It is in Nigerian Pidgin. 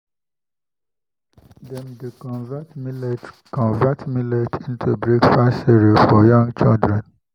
dem dey convert millet convert millet into breakfast cereal for young children.